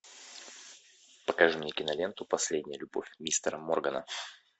покажи мне киноленту последняя любовь мистера моргана